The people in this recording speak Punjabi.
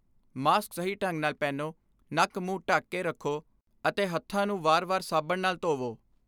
ਮਾਸਕ ਸਹੀ ਢੰਗ ਨਾਲ ਪਹਿਨੋ, ਨੱਕ ਮੁੰਹ ਢੱਕ ਕੇ ਰੱਖੋ ਅਤੇ ਹੱਥਾਂ ਨੂੰ ਵਾਰ ਵਾਰ ਸਾਬਣ ਨਾਲ ਧੋਵੋ।